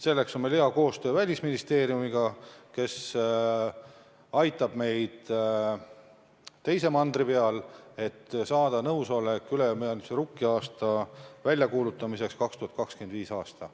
Selleks teeme head koostööd Välisministeeriumiga, kes aitab meid teise mandri peal, et saada nõusolek ülemaailmse rukkiaasta väljakuulutamiseks 2025. aastal.